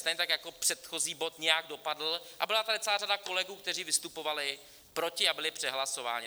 Stejně tak jako předchozí bod nějak dopadl, a byla tady celá řada kolegů, kteří vystupovali proti, a byli přehlasováni.